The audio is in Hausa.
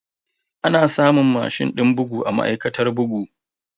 Ana samun mashin din bugu a ma'aikatar bugu.